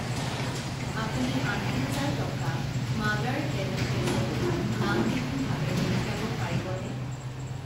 আপুনি আশী হাজাৰ টকা মাডাৰ হেল্পএজ লৈ নামবিহীনভাৱে পঠিয়াব পাৰিবনে?